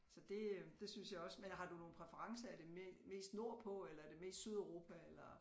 Så det øh det synes jeg også men har du nogen præferencer er det mest nordpå eller er det mest Sydeuropa eller